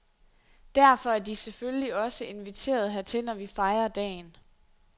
Derfor er de selvfølgelig også inviteret hertil, når vi fejrer dagen.